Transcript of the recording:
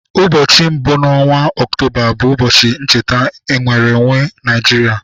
Ụbọchị mbụ n'ọnwa Ọktoba bụ ụbọchị ncheta nnwere onwe Nigeria.